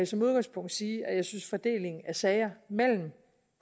som udgangspunkt sige at jeg synes at fordelingen af sager mellem